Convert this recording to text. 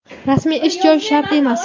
Rasmiy ish joyi shart emas!.